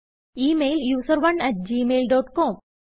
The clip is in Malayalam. ഈ mail user one at Gmail dot com